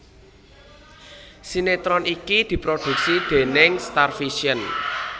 Sinetron iki diprodhuksi déning Starvision